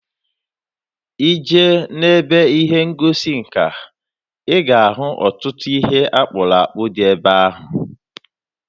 Ị jee n'ebe ihe ngosi nka, ị ga-ahụ ọtụtụ ihe akpụrụ akpụ dị ebe ahụ.